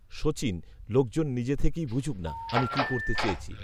সচিন, লোকজন নিজে থেকেই বুঝুক না, আমি কি করতে চেয়েছি